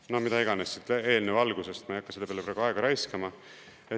No mida iganes, siit eelnõu algusest, ma ei hakka selle peale praegu aega raiskama.